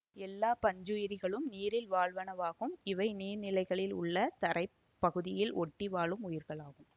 எல்லா பஞ்சுயிரிகளும் நீரில் வாழ்வனவாகும் இவை நீர் நிலைகளில் உள்ள தரை பகுதியில் ஒட்டி வாழும் உயிர்களாகும்